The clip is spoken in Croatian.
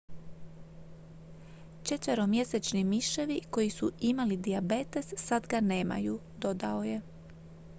"""četveromjesečni miševi koji su imali dijabetes sad ga nemaju," dodao je.